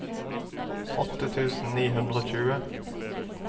åtte tusen ni hundre og tjue